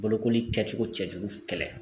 Bolokoli kɛcogo cɛjugu kɛlɛ